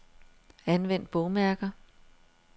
Anvend bogmærker.